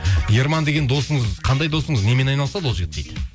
ерман деген досыңыз қандай досыңыз немен айналысады ол жігіт дейді